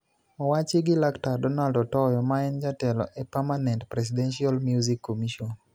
owachi gi Laktar Donald Otoyo maen jatelo e Permanent Presidential Music Commission.